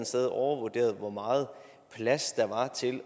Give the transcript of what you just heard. sted overvurderet hvor meget plads der var til